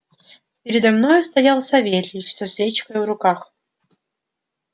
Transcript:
передо мною стоял савельич со свечкою в руках